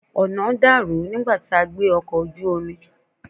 Ọ̀nà dàrú nígbà tí a gbé ọkọ̀ ojú omi.